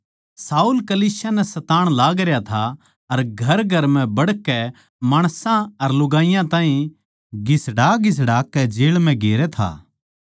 शाऊल कलीसिया नै सताण लागरया था अर घरघर म्ह बड़कै माणसां अर लुगाईयां ताहीं घिसड़ाघिसड़ा कै जेळ म्ह गेरै था